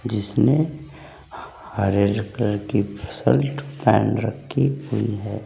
जिसमें हरे कलर की शर्ट पहन रखी हुई है।